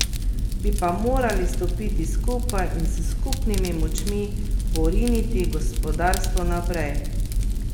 Bi pa morali stopiti skupaj in s skupnimi močmi poriniti gospodarstvo naprej.